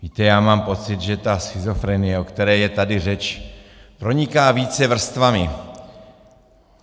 Víte, já mám pocit, že ta schizofrenie, o které je tady řeč, proniká více vrstvami.